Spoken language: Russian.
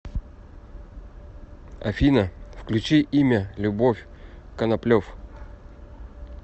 афина включи имя любовь коноплев